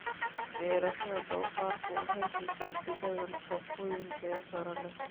Beerashada doofaarku waxay siisaa digada nafaqooyin tayo sare leh.